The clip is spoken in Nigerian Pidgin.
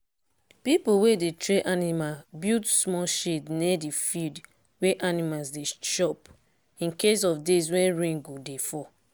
people wey dey train animal build small shade near the field wey animals dey chop in case of days wey rain go dey fall.